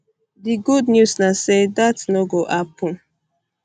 di good news na say dat um no go happun